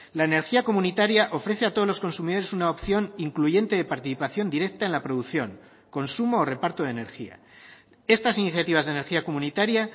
la energía comunitaria ofrece a todos los consumidores una opción incluyente de participación directa en la producción consumo o reparto de energía estas iniciativas de energía comunitaria